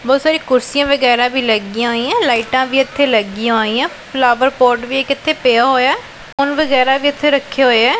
ਬਹੁਤ ਸਾਰੀ ਕੁਰਸੀਆਂ ਵਗੈਰਾ ਵੀ ਲੱਗੀਆਂ ਹੋਈਆਂ ਲਾਈਟਾਂ ਵੀ ਇੱਥੇ ਲੱਗੀਆਂ ਹੋਈਆਂ ਫਲਾਵਰ ਪੋਟ ਵੀ ਇੱਕ ਇੱਥੇ ਪਿਆ ਹੋਇਆ ਫੋਨ ਵਗੈਰਾ ਵੀ ਇੱਥੇ ਰੱਖੇ ਹੋਏ ਐ।